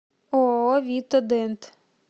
ооо вита дент